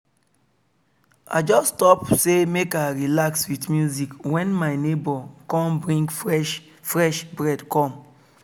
i just stop say make i relax with music when my neighbor come bring fresh fresh bread come